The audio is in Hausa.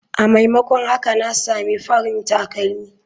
A maimakon haka na samu farin takalmi.